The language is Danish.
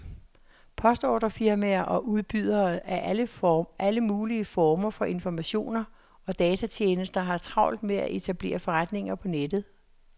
Postordrefirmaer og udbydere af alle mulige former for informationer og datatjenester har travlt med at etablere forretninger på nettet.